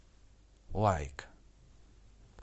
лайк